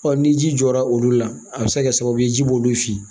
ni ji jɔra olu la a bɛ se ka kɛ sababu ye ji b'olu fin